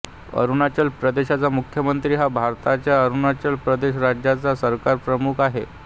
अरुणाचल प्रदेशचा मुख्यमंत्री हा भारताच्या अरुणाचल प्रदेश राज्याचा सरकारप्रमुख आहे